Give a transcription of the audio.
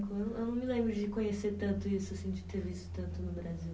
Eu não, eu não me lembro de conhecer tanto isso assim, de ter visto tanto no Brasil.